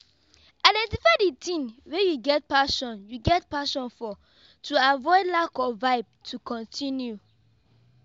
identify di thing wey you get passion you get passion for to avoid lack of vibe to continue